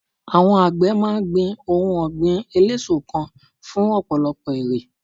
àwọn àgbẹ ma n gbin ohun ògbìn eleso kan fún ọpọlọpọ èrè